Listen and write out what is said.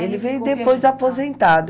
Ele veio depois de aposentado.